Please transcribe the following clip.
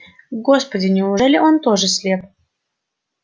господи неужели он тоже слеп